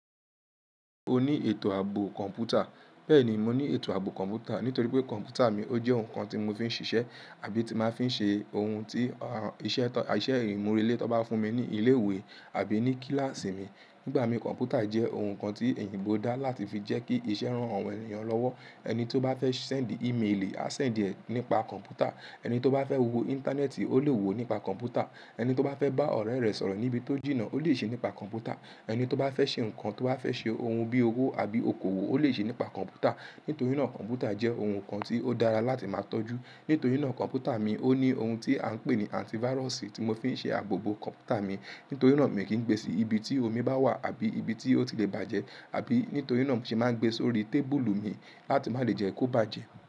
O ní ètò ààbò kọ̀ǹpútà. Bẹ́ẹ̀ni, mo ní ètò ààbò kọ̀ǹpútà nítorí pé kọ̀ǹpútà mi ó jẹ́ ohun kan tí mo fi ń ṣiṣẹ́ àbí tí máa ń fi ṣe ohun tí iṣẹ́ ìmúrelé tó bá fún mi ní ilé ìwé àbí ní kíláàsì mi. Nígbà mí, kọ̀ǹpútà jẹ́ ohun kan tí èèyingbọ dá láti fi jẹ́ kí iṣẹ́ rán àwọn ènìyàn lọ́wọ́. Ẹni tí ó bá fẹ́ sẹ́ẹ̀ndì ímeèlì, á sẹ́ẹ̀ndì ẹ nípa kọ̀ǹpútà; ẹni tí ó bá fẹ́ wo íńtánẹ́ẹ̀tì, ó lè wo nípa kọ̀ǹpútà; ẹni tí ó bá fẹ́ bá ọ̀rẹ́ rẹ̀ sọ̀rọ̀ níbi tí ó jìnnà, ó lè ṣe é nípa kọ̀ǹpútà; ẹni tí ó bá fẹ́ ṣe ohun tí ó bá fẹ́ ṣe, ohun bí owó àbí okòwò, ó lè ṣe é nípa kọ̀ǹpútà. Nítorí náà kọ̀ǹpútà jẹ́ ohun kan tí ó dára láti máa tọ́jú. Nítorí náà kọ̀ǹpútà mi ó ní ohun tí a ń pè ní àntívàrọ̀sì tí mo fi ń ṣe ààbò bó kọ̀ǹpútà mi. Nítorí náà mi kì í gbé sí ibi tí omi bá wà àbí ibi tí ó ti lè bàjẹ́, àbí nítorí náà sì máa ń gbé sórí tébúlù mi láti má lè jẹ́ kó bàjẹ́.